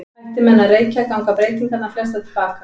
Hætti menn að reykja ganga breytingarnar flestar til baka.